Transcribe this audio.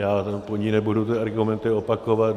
Já po ní nebudu ty argumenty opakovat.